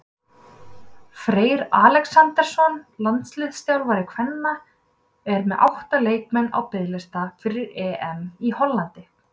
Freyr Alexandersson, landsliðsþjálfari kvenna, er með átta leikmenn á biðlista fyrir EM í Hollandi.